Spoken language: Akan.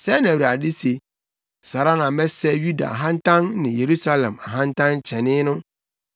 “Sɛɛ na Awurade se, ‘Saa ara na mɛsɛe Yuda ahantan ne Yerusalem ahantankyɛnee no.